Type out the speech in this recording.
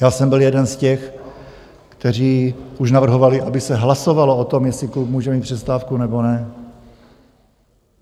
Já jsem byl jeden z těch, kteří už navrhovali, aby se hlasovalo o tom, jestli klub může mít přestávku, nebo ne.